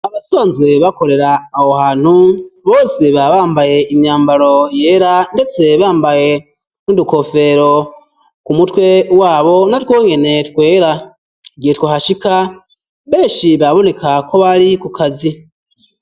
Abasanzwe bakorera aho hantu bose baba bambaye imyambaro yera ndetse bambaye n'udukofero ku mutwe wabo na twonyene twera igihe twahashika beshi baboneka ko bari ku kazi